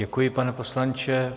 Děkuji, pane poslanče.